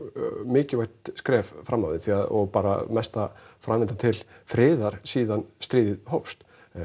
mikilvægt skref fram á við og bara mesta framlag til friðar síðan stríðið hófst